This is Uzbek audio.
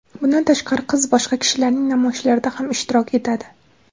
Bundan tashqari, qiz boshqa kishilarning namoyishlarida ham ishtirok etadi.